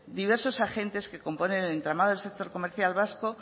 diversos agentes que componen el entramado del sector comercial vasco